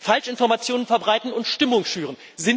Falschinformationen verbreiten und Stimmung schüren.